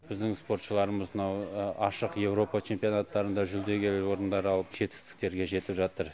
біздің спортшыларымыз мынау ашық еуропа чемпионаттарында жүлдеге орындар алып жетістіктерге жетіп жатыр